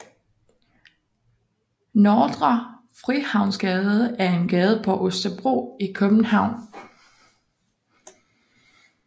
Nordre Frihavnsgade er en gade på Østerbro i København